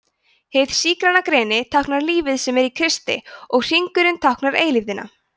hið sígræna greni táknar lífið sem er í kristi og hringurinn táknar eilífðina